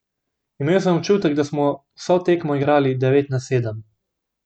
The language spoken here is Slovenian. Imel sem občutek, da smo vso tekmo igrali devet na sedem.